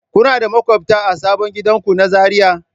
Kuna da maƙwabta a sabon gidanku na Zariya?